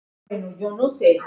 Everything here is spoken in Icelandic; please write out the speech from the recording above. Sat hann frammi í skála.